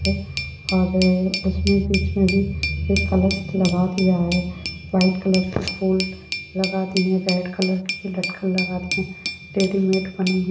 --और इसमें बीच मे भी एक कलश लगा दिया है व्हाइट कलर के फूल लगा दिए है रेड कलर के भी लटकन लगा दिए है रेडीमैड बनी हुई है।